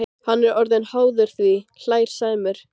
Hann er orðinn háður því, hlær Sæmi.